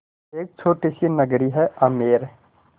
एक छोटी सी नगरी है आमेर